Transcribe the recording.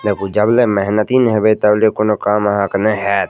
देखो जब ले मेहनती न होबे तबले कउनो काम आहा के नै हैत।